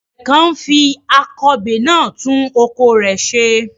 Àgbẹ̀ kan ń fi akọbè náà tún oko rẹ̀ ṣe.